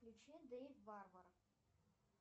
включи дэйв варвар